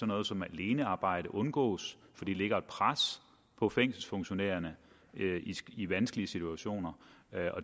noget som alenearbejde undgås for det lægger et pres på fængselsfunktionærerne i vanskelige situationer